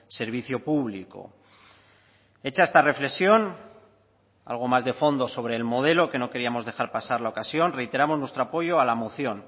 servicio público hecha esta reflexión algo más de fondo sobre el modelo que no queríamos dejar pasar la ocasión reiteramos nuestro apoyo a la moción